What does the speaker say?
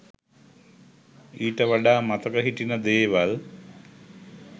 ඊට වඩා මතක හිටින දේවල්